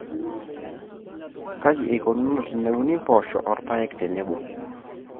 Kaji eikununo teneuni mpoosho o mpoosho tenebo.